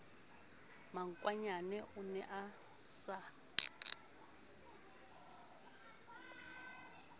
makwanyane o ne a sa